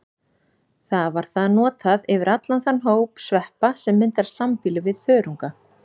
Þar var það notað yfir allan þann hóp sveppa sem myndar sambýli við þörunga.